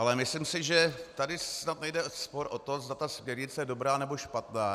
Ale myslím si, že tady snad není spor o to, zda ta směrnice je dobrá, nebo špatná.